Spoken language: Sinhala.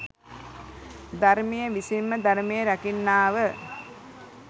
ධර්මය විසින්ම ධර්මය රකින්නාව